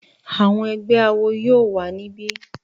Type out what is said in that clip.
Àwọn ẹgbẹ́ awo yóò wà ní bí